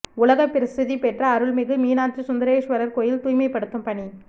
உலக பிரசித்தி பெற்ற அருள்மிகு மீனாட்சி சுந்தரேஸ்வரர் கோயில் தூய்மை படுத்தும் பணி